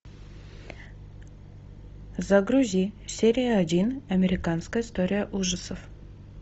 загрузи серия один американская история ужасов